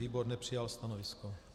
Výbor nepřijal stanovisko.